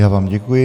Já vám děkuji.